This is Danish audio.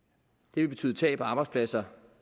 det vil betyde tab af arbejdspladser